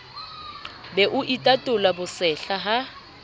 be o itatola bosehla ha